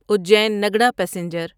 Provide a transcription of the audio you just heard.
Ujjain Nagda passenger